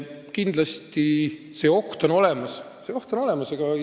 Kindlasti on see oht olemas.